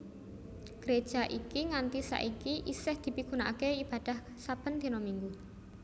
Gréja iki nganti saiki isih dipigunakaké ibadah saben dina Minggu